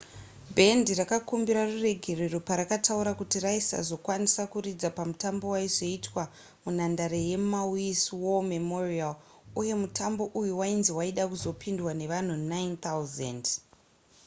bhendi rakakumbira ruregerero parakataura kuti raisazokwanisa kuridza pamutambo waizoitwa munhandare yemaui's war memorial uye mutambo uyu wainzi waida kuzopindwa nevanhu 9 000